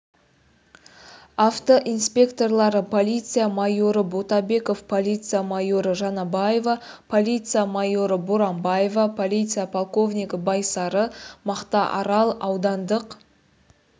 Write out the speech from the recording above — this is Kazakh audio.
автоинспекторлары полиция майоры ботабеков полиция майоры жанабаева полиция майоры боранбаева полиция полковнигі байсары мақтаарал аудандық